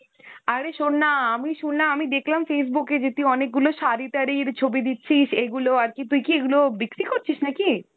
আরে শোন না, আমি শুনলাম, আমি দেখলাম Facebook এ যে তুই অনেকগুলো শাড়ি-টাড়ির ছবি দিচ্ছিস, এগুলো আরকি তুইকি এগুলো বিক্রি করছিস নাকি?